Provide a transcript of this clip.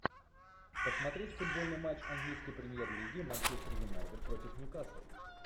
посмотреть футбольный матч английской премьер лиги манчестер юнайтед против ньюкасл